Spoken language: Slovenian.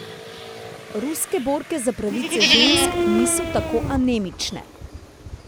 Ruske borke za pravice žensk niso tako anemične.